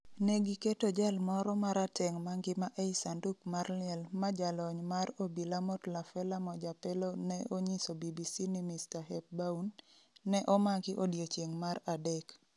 Ne 'giketo' jal moro marateng' mangima ei sanduk mar liel ma jalony mar obila Motlafela Mojapelo ne onyiso BBC ni Mr. Hepbaun, ne omaki odiechieng' mar adek.